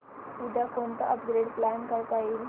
उद्या कोणतं upgrade plan करता येईल